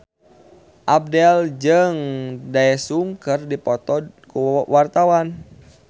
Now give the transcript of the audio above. Abdel jeung Daesung keur dipoto ku wartawan